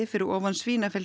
fyrir ofan